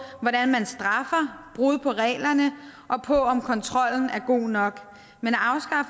hvordan man straffer brud på reglerne og på om kontrollen er god nok men